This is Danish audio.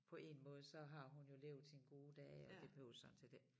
På 1 måde så har hun jo levet sine gode dage og det behøves sådan set ikke